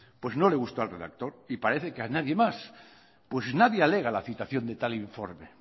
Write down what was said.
pues no le gustó al redactor y parece que nadie más pues nadie alega la citación de tal informe